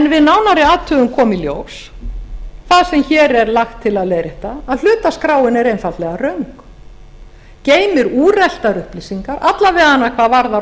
við nánari athugun kom í ljós það sem hér er lagt til að leiðrétta að hlutaskráin er einfaldlega röng geymir úreltar upplýsingar alla vega hvað varðar